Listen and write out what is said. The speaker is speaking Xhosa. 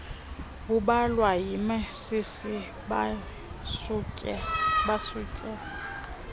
babulawa yimasisi basutywe